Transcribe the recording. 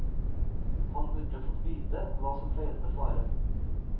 Han burde fått vite hva som feilte faren.